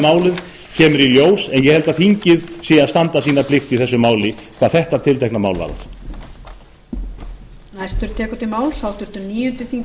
málið kemur í ljós en ég held að þingið sé að standa sína plikt hvað þetta tiltekna mál varðar